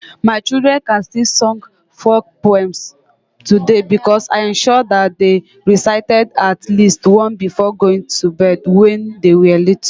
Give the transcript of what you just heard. My children can still sing folk poems today because I ensured that they recited at least one before going to bed when they were little.